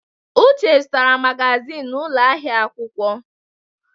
Uche zụtara magazin n'ụlọ ahịa akwụkwọ.